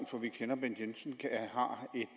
for vi kender bent jensen